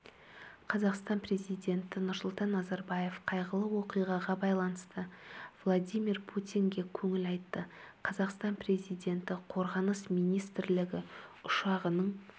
қазақстан президенті нұрсұлтан назарбаев қайғылы оқиғаға байланысты владимир путинге көңіл айтты қазақстан президенті қорғаныс министрлігі ұшағының